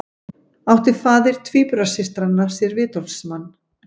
Átti faðir tvíburasystranna sér vitorðsmann